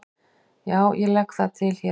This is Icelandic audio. Já, ég legg það til hér með.